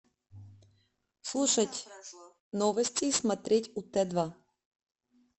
слушать новости и смотреть ут два